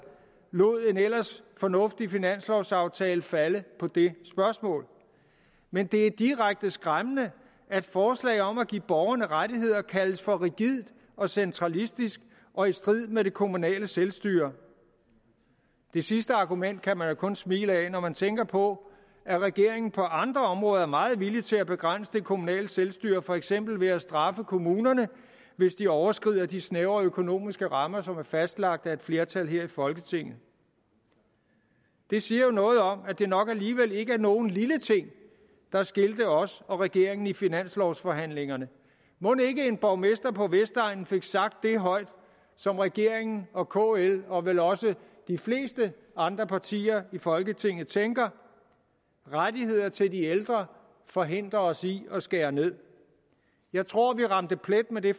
lod en ellers fornuftig finanslovsaftale falde på det spørgsmål men det er direkte skræmmende at forslaget om at give borgerne rettigheder kaldes for rigidt og centralistisk og i strid med det kommunale selvstyre det sidste argument kan man jo kun smile ad når man tænker på at regeringen på andre områder er meget villige til at begrænse det kommunale selvstyre for eksempel ved at straffe kommunerne hvis de overskrider de snævre økonomiske rammer som er fastlagt af et flertal her i folketinget det siger jo noget om at det nok alligevel ikke var nogen lille ting der skilte os og regeringen i finanslovsforhandlingerne mon ikke en borgmester på vestegnen fik sagt det højt som regeringen og kl og vel også de fleste andre partier i folketinget tænker rettigheder til de ældre forhindrer os i at skære ned jeg tror vi ramte plet med det